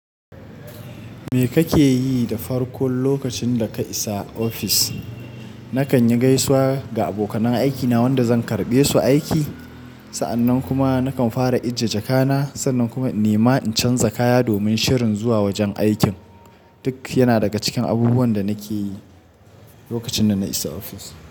Me kake yi da farkon lokacin da ka isa ofis? Nakan yi gaisuwa ga abokanan aikina wanda zan karɓe su aiki. Sa'annan kuma nakan fara ijje jakana, sannan kuma nima in canza kaya domin shirin zuwa wajen aikin. Duk yana daga cikin abubuwan da nake yi lokacin da na isa ofis.